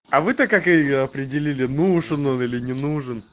а вы то как её определили нужен он или не нужен